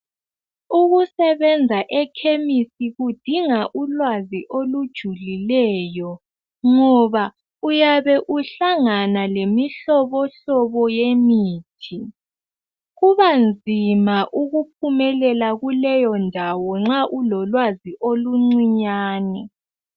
Ukusebenza ekhemisi kudinga ulwazi olujulileyo, ngoba uyabe uhlangana lemihlobohlobo yemithi. Kuba nzima ukuphumelela kuleyondawo nxa ulolwazi oluncinyane.